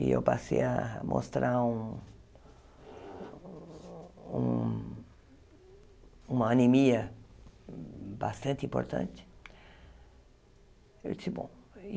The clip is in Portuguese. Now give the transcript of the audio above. E eu passei a mostrar um um uma anemia bastante importante.